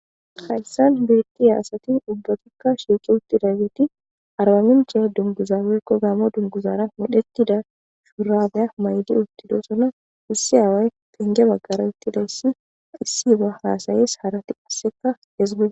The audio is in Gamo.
hayssan beeki aasati dubbatikka shiiqi uttida geti arbaminche dunguzabekko gaamo dunguzaara medhetida shuurabeya maydi uttidosona wusse aaway pinge baggara ettidayssi issi ba haasayes harati husseka hezgae